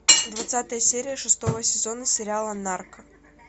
двадцатая серия шестого сезона сериала нарк